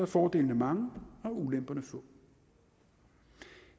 fordelene mange og ulemperne få